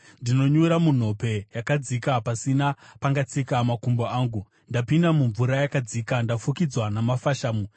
Ndinonyura munhope yakadzika, pasina pangatsika makumbo angu. Ndapinda mumvura yakadzika; ndafukidzwa namafashamu.